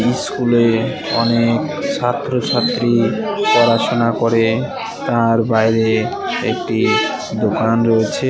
স্কুলে অনেক ছাত্রছাত্রী পড়াশোনা করে তার বাইরে একটি দোকান রয়েছে।